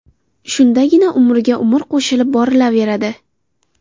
Shundagina umriga umr qo‘shilib borilaveradi.